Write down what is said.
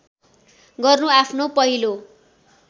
गर्नु आफ्नो पहिलो